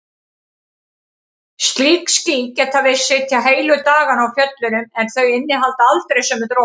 Slík ský geta virst sitja heilu dagana á fjöllunum en þau innihalda aldrei sömu dropana.